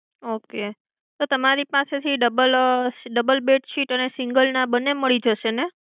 okay તો તમારી પાસેથી double double બેડશીટ અને single ના બંને મળી જશે ને?